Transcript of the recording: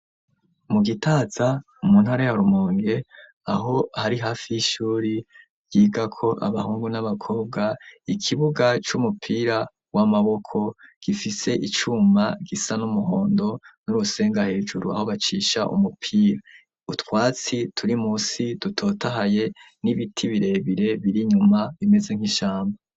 Mu Gitaza, mu ntara ya Rumonge, aho hari , hafi y'ishuri, ryigako abahungu n'abakobwa, ikibuga c'umupira w'amaboko, gifise icuma, gisa n'umuhondo, n'urusenga hejuru, aho bacisha umupira; utwatsi, turi munsi dutotahaye, n'ibiti birebire, biri inyuma, bimeze nk'ishamba.